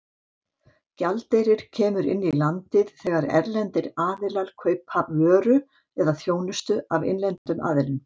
Gjaldeyrir kemur inn í landið þegar erlendir aðilar kaupa vöru eða þjónustu af innlendum aðilum.